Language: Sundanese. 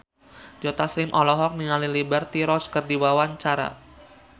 Joe Taslim olohok ningali Liberty Ross keur diwawancara